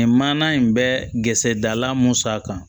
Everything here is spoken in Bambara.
Nin manana in bɛ gsɛrisala mun sara